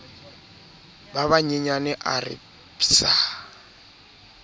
ba banyenyane a re psa